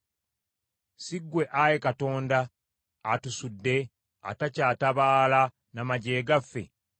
Si ggwe Ayi Katonda, atusudde, atakyatabaala na magye gaffe?